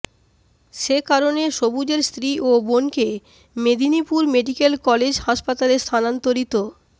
সে কারণে সবুজের স্ত্রী ও বোনকে মেদিনীপুর মেডিক্যাল কলেজ হাসপাতালে স্থানান্তরিত